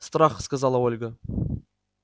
страха сказала ольга